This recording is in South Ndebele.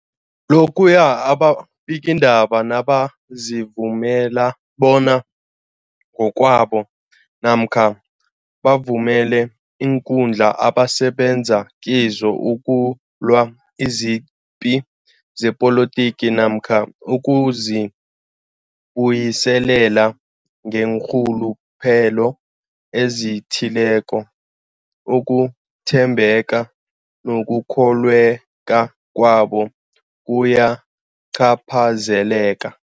Lokhuya ababikiindaba nabazivumela bona ngokwabo namkha bavumele iinkundla abasebenza kizo ukulwa izipi zepolitiki namkha ukuzi buyiselela ngeenrhuluphelo ezithileko, ukuthembeka nokukholweka kwabo kuyacaphazeleka.